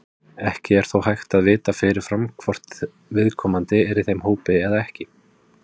Ekki er þó hægt að vita fyrirfram hvort viðkomandi er í þeim hópi eða ekki.